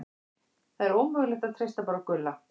Það er ómögulegt að treysta bara á Gulla.